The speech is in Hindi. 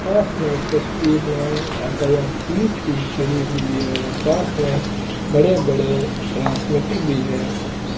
पास में इस तस्वीर में यातायात पुलिस भी खड़ी हुई है और पास में बड़े बड़े ट्रांसमीटर भी है।